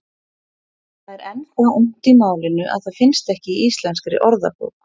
Það er enn það ungt í málinu að það finnst ekki í Íslenskri orðabók.